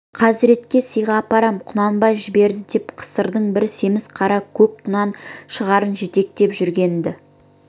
хазіретке сыйға апарам құнанбай жіберді деп қысырдың бір семіз қара көк құнан шығарын жетектеп жүргенді